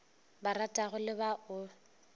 ba ratago le ba o